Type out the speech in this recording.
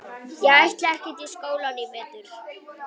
Ég ætla ekkert í skólann í vetur.